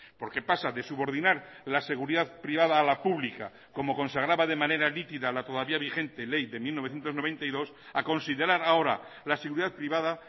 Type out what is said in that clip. porque pasa de subordinar la seguridad privada a la pública como consagraba de manera nítida la todavía vigente ley de mil novecientos noventa y dos a considerar ahora la seguridad privada